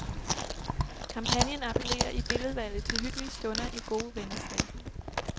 Kampagnen appellerer i billedvalget til hyggelige stunder i gode venners lag.